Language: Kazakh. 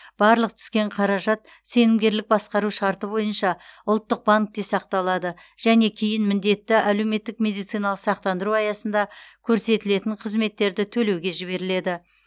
барлық түскен қаражат сенімгерлік басқару шарты бойынша ұлттық банкте сақталады және кейін міндетті әлеуметтік медициналық сақтандыру аясында көрсетілетін қызметтерді төлеуге жіберіледі